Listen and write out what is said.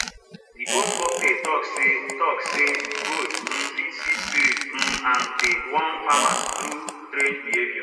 de old folktale talk say talk say goat um fit see spirit um and dey warn farmers through strange behavior